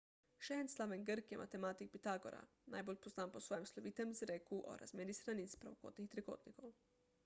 še en slaven grk je matematik pitagora najbolj poznan po svojem slovitem izreku o razmerjih stranic pravokotnih trikotnikov